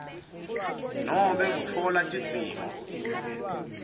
nobe kutfola tidzingo